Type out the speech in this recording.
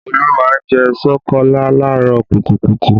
Olu má ń jẹ́ ṣokolá làárọ̀ kùtùkùtù